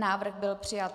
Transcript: Návrh byl přijat.